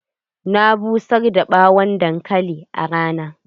Na busar da ɓawon dankali a rana.